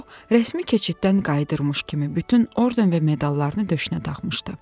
O, rəsmi keçiddən qayıdırmış kimi bütün orden və medallarını döşünə taxmışdı.